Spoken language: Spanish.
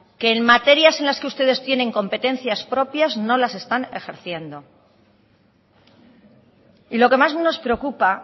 que en materias en las que ustedes tienen competencias propias no las están ejerciendo y lo que más nos preocupa